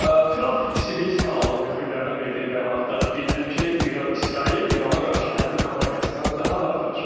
Tramp CBS kanalının müxbirlərinə verdiyi bəyanatda qeyd edib ki, İsrail İrana qarşı hərbi kampaniyasını daha da artıracaq.